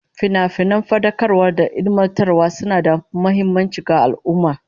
Finafinan fadakarwa da ilmantarwa suna da muhimmanci ga al'ummah